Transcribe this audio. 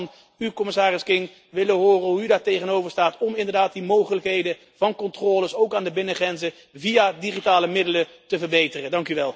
Ik zou graag van u, commissaris King, willen horen hoe u daartegenover staat om inderdaad die mogelijkheden van controles, ook aan de binnengrenzen, via digitale middelen te verbeteren.